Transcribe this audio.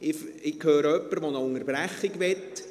– Ich höre jemanden, der eine Unterbrechung möchte.